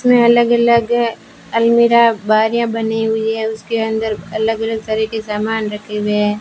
इसमें अलग अलग अलमीरा बारियां बनी हुई है उसके अंदर अलग अलग तरह के सामान रखे हुए है।